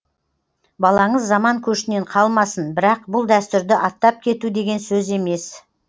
балаңыз заман көшінен қалмасын бірақ бұл дәстүрді аттап кету деген сөз емес